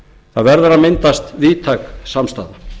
það verður að myndast víðtæk samstaða